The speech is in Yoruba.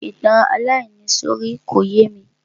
Ìtàn aláìníìsọ̀rí ò yémi.